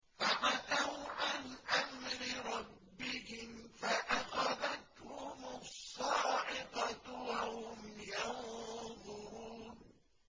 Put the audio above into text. فَعَتَوْا عَنْ أَمْرِ رَبِّهِمْ فَأَخَذَتْهُمُ الصَّاعِقَةُ وَهُمْ يَنظُرُونَ